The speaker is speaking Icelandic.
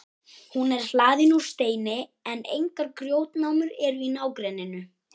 hún er hlaðin úr steini en engar grjótnámur eru í nágrenninu